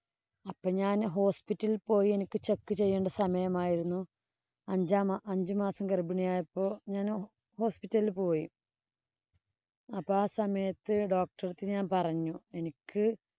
അപ്പം ഞാന്‍ hospital ഇല്‍ പോയി. എനിക്ക് check ചെയ്യണ്ട സമയമായിരുന്നു. അഞ്ചാം മാ അഞ്ചുമാസം ഗര്‍ഭിണിയായപ്പോ hospital ഇല്‍ പോയി അപ്പൊ ആ സമയത്ത് ഞാന്‍ doctor അടുത്ത് ഞാന്‍ പറഞ്ഞു. എനിക്ക്